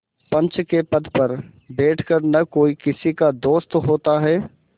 पंच के पद पर बैठ कर न कोई किसी का दोस्त होता है